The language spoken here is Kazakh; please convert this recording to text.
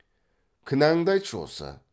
кінәңді айтшы осы